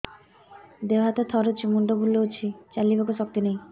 ଦେହ ହାତ ଥରୁଛି ମୁଣ୍ଡ ବୁଲଉଛି ଚାଲିବାକୁ ଶକ୍ତି ନାହିଁ